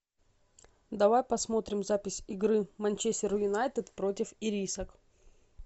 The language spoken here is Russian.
давай посмотрим запись игры манчестер юнайтед против ирисок